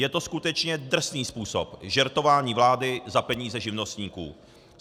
Je to skutečně drsný způsob žertování vlády za peníze živnostníků.